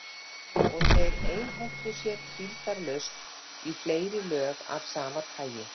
Og þeir einhentu sér hvíldarlaust í fleiri lög af sama tagi.